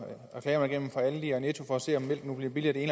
reklamer igennem fra aldi og netto for at se om mælk nu bliver billigere det